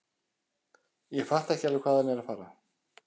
Ég fatta ekki alveg hvað hann er að fara.